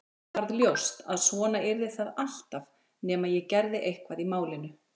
Mér varð ljóst að svona yrði það alltaf nema ég gerði eitthvað í málinu.